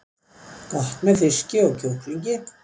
Gott með fiski og kjúklingi